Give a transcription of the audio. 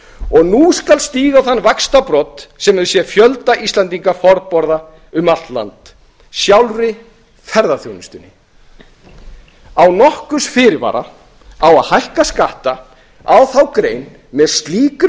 og nú skal stíga á þann vaxtarbrodd sem hefur séð fjölda íslendinga farborða um allt land sjálfa ferðaþjónustuna án nokkurs fyrirvara á að hækka skatta á þá grein með slíkri